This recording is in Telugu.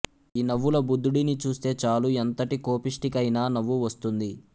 ఈ నవ్వుల బుద్ధుడిని చూస్తే చాలు ఎంతటి కోపిష్ఠికైనా నవ్వు వస్తుంది